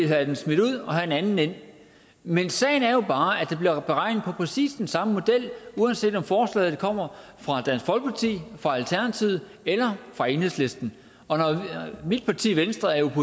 have den smidt ud og have en anden ind men sagen er jo bare at der bliver beregnet efter præcis den samme model uanset om forslaget kommer fra dansk folkeparti fra alternativet eller fra enhedslisten og når mit parti venstre er